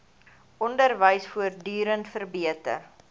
onderwys voortdurend verbeter